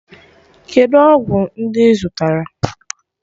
Kedụ ọgwụ ndị ị zụtara?